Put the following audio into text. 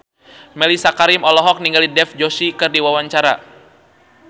Mellisa Karim olohok ningali Dev Joshi keur diwawancara